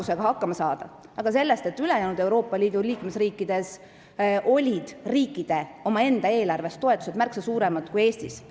See oli tekkinud sellest, et ülejäänud Euroopa Liidu liikmesriikides olid riikide omaenda eelarvest makstavad toetused märksa suuremad kui Eestis.